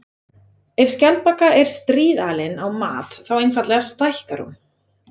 Ef skjaldbaka er stríðalin á mat þá einfaldlega stækkar hún.